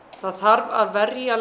það þarf að verja